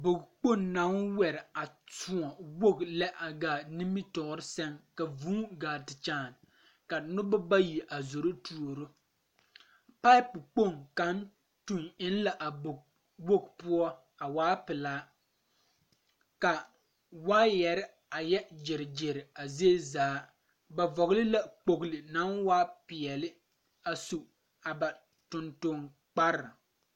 Bog kpoŋ naŋ wɛre a kyoɔ woge lɛ a gaa nimitoore sɛŋ ka vūū gaa ti kyaan ka nobɔ bayi a zoro tuuro pipe kpoŋ kaŋ tuŋ eŋ la a bog woge poɔ a waa pelaa ka waayarre a yɛ gyire gyire a zie zaa ba vɔgle la kpogle naŋ waa peɛle a su a ba tonton kpare.